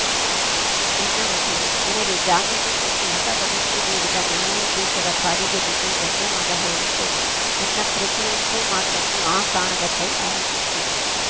ನನ್ನ ಉಸಿರು ನನಗೆ ಜಾಮೀನು ಕೊಟ್ಟು ಹೊಸ ಬದುಕು ನೀಡಿದ ನ್ಯಾಯಾಧೀಶರ ಕಾಲಿಗೆ ಬಿದ್ದು ಧನ್ಯವಾದ ಹೇಳುತ್ತೇನೆ ನನ್ನ ಪ್ರತಿಯೊಂದು ಮಾತನ್ನು ಆ ಕಾಣದ ಕೈ ಆಲಿಸುತ್ತಿದೆ